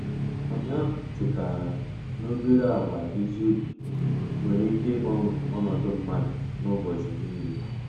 Ụnyaahụ chetaram n'obere àgwà ezi obi nwere ike ịgbanwe ọnọdụ mmadụ n'ụbọchị niile.